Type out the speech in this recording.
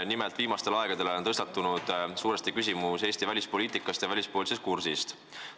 Nimelt on viimastel aegadel tõstatunud Eesti välispoliitika ja välispoliitilise kursi küsimus.